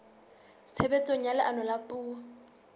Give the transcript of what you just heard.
tshebetsong ha leano la puo